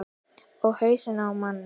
Og hausinn á manni.